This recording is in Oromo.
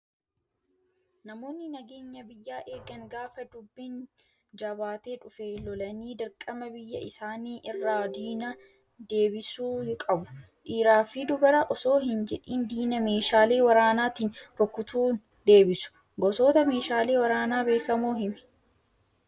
Namoonni nageenya biyyaa eegan gaafa dubbiin jabaatee dhufe lolanii dirqama biyya isaanii irraa diina deebisuu qabu. Dhiiraa fi dubara osoo hin jedhiin diina meeshaalee waraanaatiin rukutuin deebisu. Gosoota meeshaalee waraanaa beekamoo himii?